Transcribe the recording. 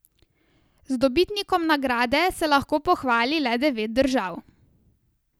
Z dobitnikom nagrade se lahko pohvali le devet držav.